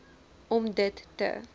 om dit te